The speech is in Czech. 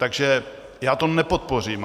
Takže já to nepodpořím.